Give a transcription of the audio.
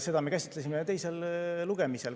Seda me käsitlesime teisel lugemisel.